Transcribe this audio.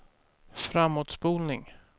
framåtspolning